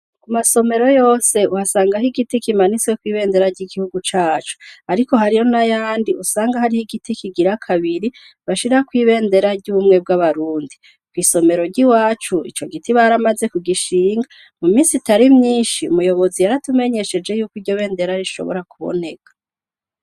Ku masomero yose uhasanga aho igiti kimanitswe kw'ibendera ry'igihugu cacu, ariko hariyo na yandi usanga hariho igiti kigira kabiri bashira kw ibendera ry'umwe bw'abarundi kw'isomero ryi wacu ico giti baramaze ku gishinga mu misi itari myinshi umuyobozi yaratumenyesheje yuko iryo bendera rishobora kuboneka.